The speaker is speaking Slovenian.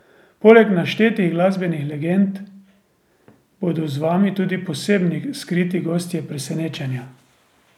Poleg naštetih glasbenih legend bodo z vami tudi posebni skriti gostje presenečenja.